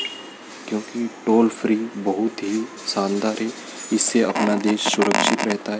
क्योंकि toll free बहुत ही शानदार है इससे अपना देश सुरक्षित रहता है।